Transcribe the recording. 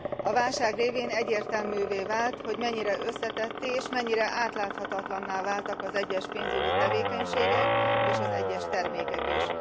A válság révén egyértelművé vált, hogy mennyire összetetté és mennyire átláthatatlanná váltak egyes pénzügyi tevékenységek és egyes termékek is.